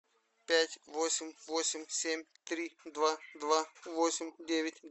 пять восемь восемь семь три два два восемь девять